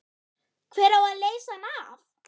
Hver á að leysa hann af?